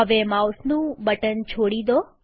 હવે માઉસનું બટન છોડી દો